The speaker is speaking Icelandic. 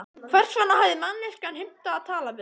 Hvers vegna hafði manneskjan heimtað að tala við hann?